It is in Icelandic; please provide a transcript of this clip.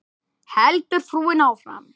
heldur frúin áfram.